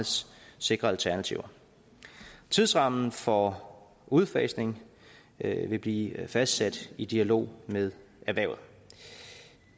sikre alternativer tidsrammen for udfasning vil blive fastsat i dialog med erhvervet